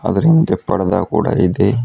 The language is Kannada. ಅದರ ಹಿಂದೆ ಪಡದಾ ಕೂಡ ಇದೆ.